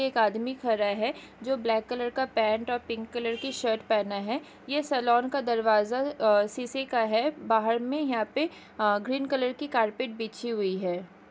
एक आदमी खड़ा है जो ब्लैक कलर का पेंट और पिंक कलर की शर्ट पहना है यह सालोन का दरवाज़ा अ शीशे का हैं बाहर मे यहाँ पे ग्रीन कलर की कारपेट बिछी हुई है।